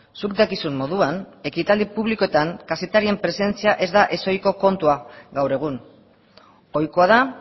zuk dakizun moduan ekitaldi publikoetan kazetarien presentzia ez da ez ohiko kontua gaur egun ohikoa da